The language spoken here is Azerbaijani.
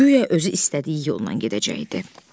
Guya özü istədiyi yolla gedəcəkdi.